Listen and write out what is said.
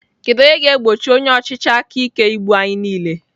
Kedu onye ga-egbochi onye ọchịchị aka ike igbu anyị niile?